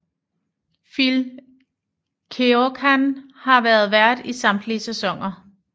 Phil Keoghan har været vært i samtlige sæsoner